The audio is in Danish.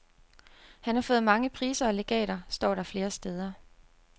Han har fået mange priser og legater, står der flere steder.